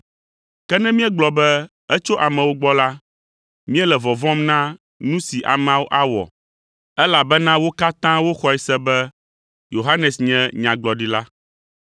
Ke ne míegblɔ be, ‘Etso amewo gbɔ’ la, míele vɔvɔ̃m na nu si ameawo awɔ, elabena wo katã woxɔe se be Yohanes nye Nyagblɔɖila.”